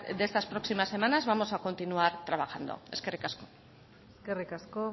de estas próximas semanas vamos a continuar trabajando eskerrik asko eskerrik asko